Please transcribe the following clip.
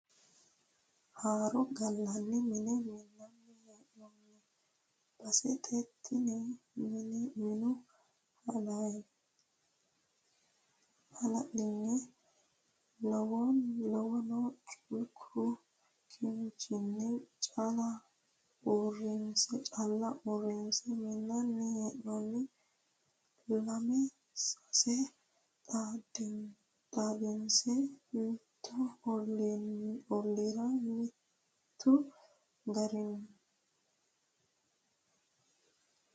Haaro gallani mine minanni hee'nonni baseti tini minu halanyuha lawano culku kinchinni calla uurrinse minanni hee'nonni lame sase xaadinse mitu ollira mitu gariha.